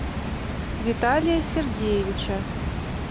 виталия сергеевича